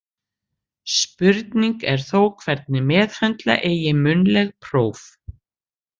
Spurning er þó hvernig meðhöndla eigi munnleg próf.